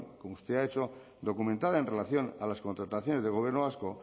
como usted ha hecho documentada en relación a las contrataciones del gobierno vasco